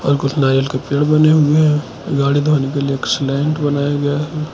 कुछ नारियल के पेड़ बने हुए हैं गाड़ी धोने के लिए एक स्लैंट बनाया गया है।